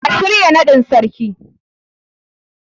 A shirya naɗin Sarkin.